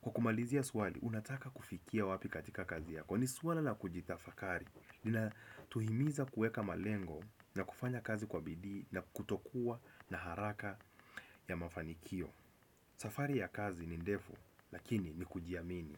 Kwa kumalizia swali, unataka kufikia wapi katika kazi yako, ni suala na kujitafakari linatuhimiza kuweka malengo na kufanya kazi kwa bidii na kutokuwa na haraka ya mafanikio. Safari ya kazi ni ndefu, lakini ni kujiamini.